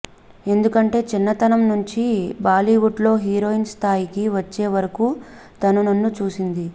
ఎందుకంటే చిన్నతనం నుంచి బాలీవుడ్లో హీరోయిన్ స్థాయికి వచ్చే వరకు తను నన్ను చూసింది